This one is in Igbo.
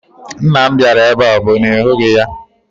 Nna m bịara ebe a, ọ bụ na ị hụghị ya?